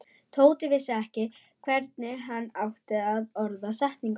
Tóti vissi ekki hvernig hann átti að orða setninguna.